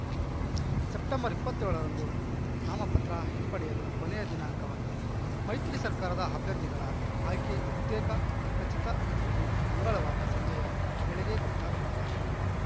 September ಇಪ್ಪತ್ತ್ಯೋಳರಂದು ನಾಮಪತ್ರ ಹಿಂಪಡೆಯಲು ಕೊನೆಯ ದಿನಾಂಕವಾಗಿದೆ ಮೈತ್ರಿ ಸರ್ಕಾರದ ಅಭ್ಯರ್ಥಿಗಳ ಆಯ್ಕೆ ಬಹುತೇಖ ಖಚಿತ ಎಂಬುದು ಮಂಗಳವಾರ ಸಂಜೆಯ ವೇಳೆಗೆ ಗೊತ್ತಾಗಲಿದ್ದಾರೆ